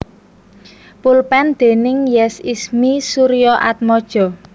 Pulpen déning Yes Ismie Suryaatmaja